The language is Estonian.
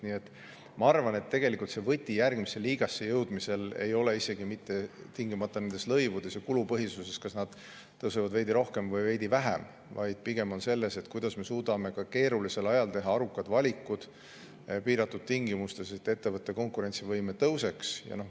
Nii et ma arvan, et tegelikult võti järgmisse liigasse jõudmiseks ei ole isegi mitte tingimata lõivudes ja kulupõhisuses ja selles, kas need tõusevad veidi rohkem või veidi vähem, vaid pigem on võti selles, kas me suudame ka keerulisel ajal ja piiratud tingimustes teha arukad valikud, selleks et ettevõtte konkurentsivõime tõuseks.